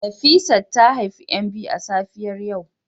Nefisat ta haifi ' yan biyu a safiyar yau